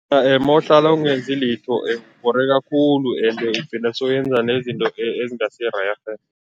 Mawuhlala ungenzi litho ubhoreka khulu ende ugcina soyenza nezinto ezingasirerhe.